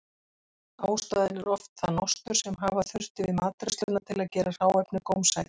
Ástæðan er oft það nostur sem hafa þurfti við matreiðsluna til að gera hráefnið gómsætt.